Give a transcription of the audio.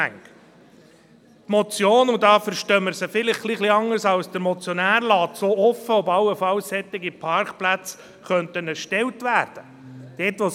Die Motion – und da verstehen wir sie vielleicht ein klein wenig anders als der Motionär – lässt auch offen, ob allenfalls solche Parkplätze erstellt werden könnten.